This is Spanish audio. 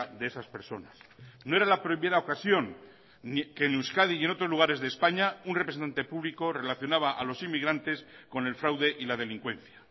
de esas personas no era la primera ocasión que en euskadi y en otros lugares de españa un representante público relacionaba a los inmigrantes con el fraude y la delincuencia